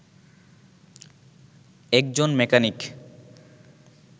একজন মেকানিক